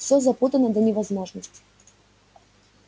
всё запутано до невозможности